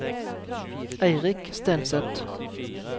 Eirik Stenseth